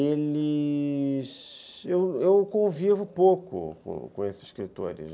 eles... eu convivo pouco com esses escritores.